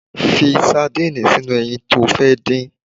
Fi sardinni sínú ẹyin to fẹ́ dín